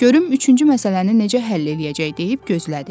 Görüm üçüncü məsələni necə həll eləyəcək deyib gözlədi.